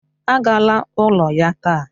Agala n'ụlọ ya taa!